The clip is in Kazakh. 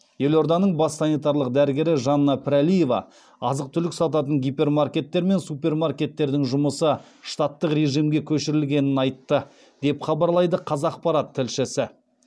елорданың бас санитарлық дәрігері жанна пірәлиева азық түлік сататын гипермаркеттер мен супермаркеттердің жұмысы штаттық режимге көшірілгенін айтты деп хабарлайды қазақпарат тілшісі